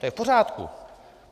To je v pořádku.